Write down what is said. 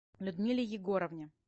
людмиле егоровне